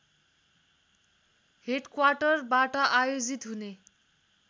हेडक्वाटरबाट आयोजित हुने